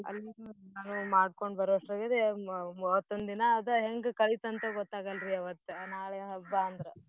ಅಲ್ಲಿ ಮಾಡ್ಕೊಂಡ್ ಬರೋವಷ್ಟ್ರಾಗದೇ ಮ~ ಮತ್ತೊಂದಿನಾ ಅದ ಹೆಂಗ ಕಳೀತಂತ್ ಗೊತ್ತಾಗಲ್ರೀ ಅವತ್ತ ನಾಳೆ ಹಬ್ಬಾ ಅಂದ್ರ